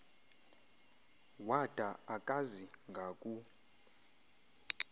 wada akazi ngaku